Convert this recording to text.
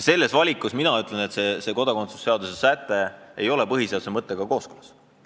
Selles mõttes see kodakondsuse seaduse säte ei ole minu arvates põhiseaduse mõttega kooskõlas.